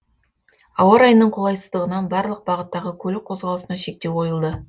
ауа райының қолайсыздығынан барлық бағыттағы көлік қозғалысына шектеу қойылды